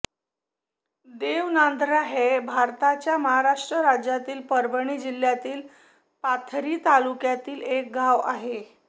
देवनांदरा हे भारताच्या महाराष्ट्र राज्यातील परभणी जिल्ह्यातील पाथरी तालुक्यातील एक गाव आहे